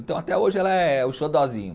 Então até hoje ela é o xodózinho.